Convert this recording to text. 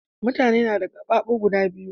Mutane nada qafafu guda biyu